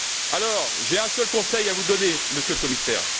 Alors, j'ai un seul conseil à vous donner, Monsieur le Commissaire.